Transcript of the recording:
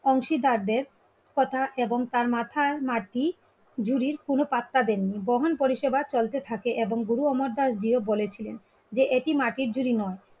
অংশীদারদের কথা এবং তার মাথায় হারটি ঝুরির কোন পাত্তা দেননি. বহন পরিষেবা চলতে থাকে এবং গুরু অমরদাস জিও বলেছিলেন. যে এটি মাটির জুড়ি নয়,